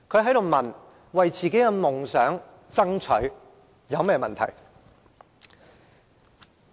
他問我，為自己的夢想而爭取，有甚麼問題？